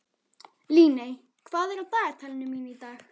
Líney, hvað er í dagatalinu mínu í dag?